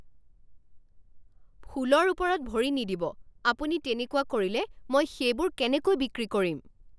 ফুলৰ ওপৰত ভৰি নিদিব! আপুনি তেনেকুৱা কৰিলে মই সেইবোৰ কেনেকৈ বিক্ৰী কৰিম!